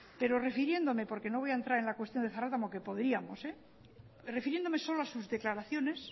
pero refiriéndome porque no voy a entrar en la cuestión de zaratamo que podríamos pero refiriéndome solo a sus declaraciones